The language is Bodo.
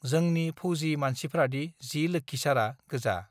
जोंनि फौजि मानसिफ्रादि जि लोक्षिसारा गोजा